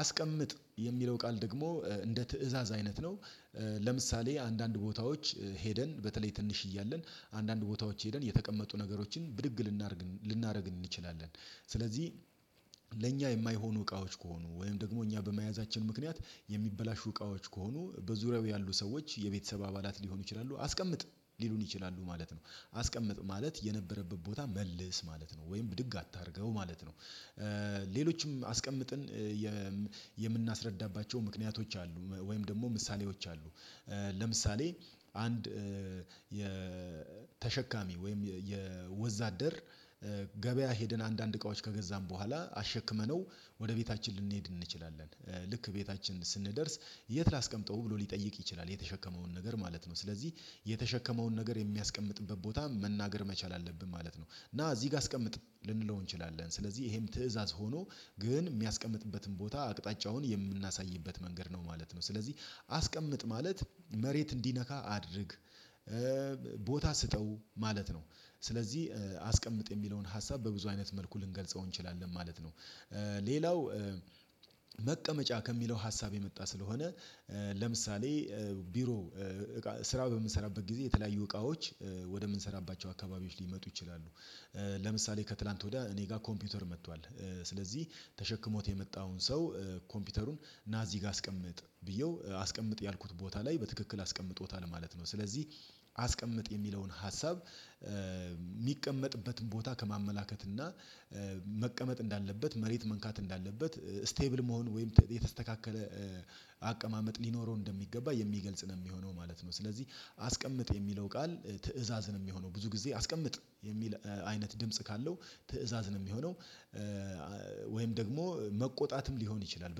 አስቀምጥ የሚለው ቃል ደግሞ እንደ ትእዛዝ አይነት ነው። ለምሳሌ አንዳንድ ቦታዎች ሄደን በተለይ ትንሽ እያለን አንዳንድ ቦታዎች ሄደን የተቀመጡ ነገሮችን ብድግ ልናደርግ ልናደርግ እንችላለን። ስለዚህ ለእኛ የማይሆኑ እቃዎች ከሆኑ ወይም ደግሞ እኛ በመያዛችን ምክንያት የሚበላሹ እቃዎች ከሆኑ በዙሪያው ያሉ ሰዎች የቤተሰብ አባላት ሊሆኑ ይችላሉ አስቀምጥ ሊሉን ይችላሉ ማለት ነው አስቀምጥ ማለት የነበረበት ቦታ መልስ ማለት ነው ወይም ብድግ አታድርገው ማለት ነው። ሌሎችም አስቀምጥን የምናስረዳባቸው ምክንያቶች አሉ ወይም ደግሞ ምሳሌዎች አሉ። ለምሳሌ አንድ ተሸካሚ ወይም ወዛደር ገበያ ሄደን አንዳንድ እቃዎች ከገዛን በኋላ አሸክመነው ወደ ቤታችን ልንሄድ እንችላለን። ልክ ቤታችን ስንደርስ የት ላስቀምጠው ብሎ ሊጠይቅ ይችላል የተሸከመውን ነገር ማለት ነው? ስለዚህ የተሸከመውን ነገር የሚያስቀምጥበት ቦታ መናገር መቻል አለብን ማለት ነው። ና እዚህ ጋ አስቀምጥ ልንለው እንችላለን ስለዚህ ይሄም ትእዛዝ ሆኖ ግን እሚያስቀምጥበትን ቦታ አቅጣጫውን የምናሳይበት መንገድ ነው ማለት ነው። ስለዚህ አስቀምጥ ማለት መሬት እንዲነካ አድርግ ቦታ ስጠው ማለት ነው። ስለዚህ አስቀምጥ የሚለውን ሀሳብ በብዙ አይነት መልኩ ልንገልጸው እንችላለን ማለት ነው። ሌላው መቀመጫ ከሚለው ሀሳብ የመጣ ስለሆነ ለምሳሌ ቢሮ ስራ በምንሰራበት ጊዜ የተለያዩ እቃዎች ወደምንሰራባቸው አካባቢዎች ሊመጡ ይችላሉ። ለምሳሌ ከትላንት ወዲያ እኔ ጋር ኮምፒውተር መጥቷል ስለዚህ ተሸክሞት የመጣውን ሰው ኮምፒውተሩን ና እዚህ ጋ አስቀምጥ ብዬው አስቀምጥ ያልኩት ቦታ ላይ በትክክል አስቀምጦታል ማለት ነው። ስለዚህ አስቀምጥ የሚለውን ሀሳብ እሚቀመጥበትን ቦታ ከማመላከት እና መቀመጥ እንዳለበት መሬት መንካት እንዳለበት ስቴብል መሆን ወይም የተስተካከለ አቀማመጥ ሊኖረው እንደሚገባ የሚገልጽ ነው እሚሆነው ማለት ነው። ስለዚህ አስቀምጥ የሚለው ቃል ትእዛዝ ነው እሚሆነው ብዙ ጊዜ አስቀምጥ የሚል አይነት ድምጽ ካለው ትእዛዝ የሚሆነው። ወይም ደግሞ መቆጣትም ሊሆን ይችላል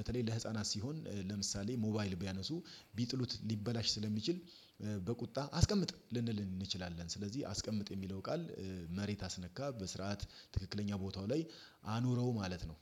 በተለይ ለህፃናት ሲሆን ለምሳሌ ሞባይል ቢያነሱ ቢጥሉት ሊበላሽ ስለሚችል በቁጣ አስቀምጥ ልንል እንችላለን። ስለዚህ አስቀምጥ የሚለው ቃል መሬት አስነካ በስርዓት ትክክለኛ ቦታው ላይ አኑረው ማለት ነው።